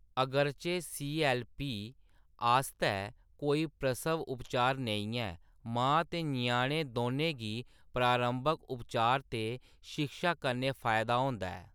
अगरचे सी.ऐल्ल.पी . आस्तै कोई प्रसव उपचार नेईं ऐ, मां ते ञ्याणे दौनें गी प्रारंभक उपचार ते शिक्षा कन्नै फायदा होंदा ऐ।